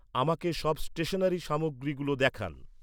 আমাকে সব স্টেশনারি সামগ্রীগুলো দেখান।